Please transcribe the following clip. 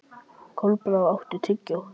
Kolbrá, áttu tyggjó?